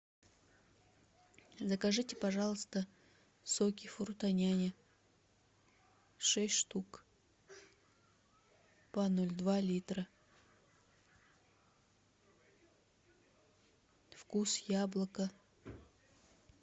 закажите пожалуйста соки фрутоняня шесть штук по ноль два литра вкус яблоко